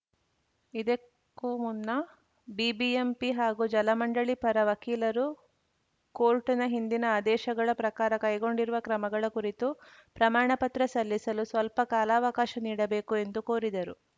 ಇದಕ್ಕೂ ಮುನ್ನ ಬಿಬಿಎಂಪಿ ಹಾಗೂ ಜಲಮಂಡಳಿ ಪರ ವಕೀಲರು ಕೋರ್ಟ್‌ನ ಹಿಂದಿನ ಆದೇಶಗಳ ಪ್ರಕಾರ ಕೈಗೊಂಡಿರುವ ಕ್ರಮಗಳ ಕುರಿತು ಪ್ರಮಾಣಪತ್ರ ಸಲ್ಲಿಸಲು ಸ್ವಲ್ಪ ಕಾಲಾವಕಾಶ ನೀಡಬೇಕು ಎಂದು ಕೋರಿದರು